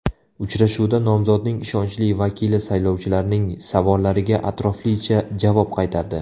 Uchrashuvda nomzodning ishonchli vakili saylovchilarning savollariga atroflicha javob qaytardi.